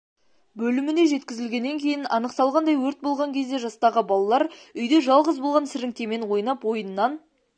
бөліміне жеткізілген кейін анықталғандай өрт болған кезде жастағы балалар үйде жалғыз болған сіріңкемен ойнап ойыннан